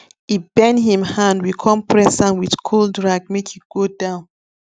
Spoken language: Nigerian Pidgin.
e bend him hand we come press am with cold rag make e go down